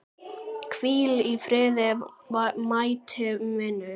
Hvíl í friði mæti vinur.